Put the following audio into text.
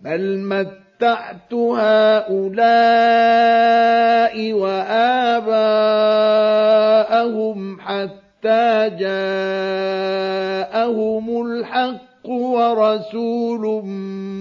بَلْ مَتَّعْتُ هَٰؤُلَاءِ وَآبَاءَهُمْ حَتَّىٰ جَاءَهُمُ الْحَقُّ وَرَسُولٌ